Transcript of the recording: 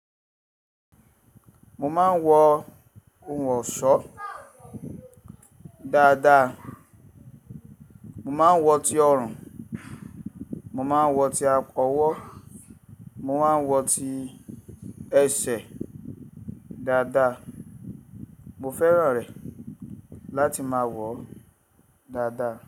Mo máa ń wọ ohun ọ̀ṣọ́ dáadáa. Mo máa ń wọ ti ọrùn, mo máa ń wọ ti akọ́wọ́, mo máa ń wọ ti ẹsẹ̀ dáadáa. Mo fẹ́ràn rẹ̀ láti máa wọ̀ ọ́ dáadáa.